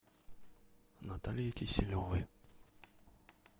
наталье киселевой